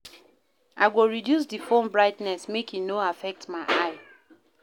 I go reduce di phone brightness make e no affect my eye.